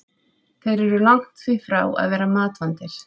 Þeir eru því langt frá því að vera matvandir.